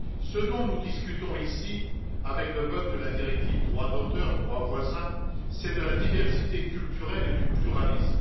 Ce dont nous discutons ici avec le vote de la directive sur les droits d'auteur et droits voisins, c'est de la diversité culturelle et du pluralisme.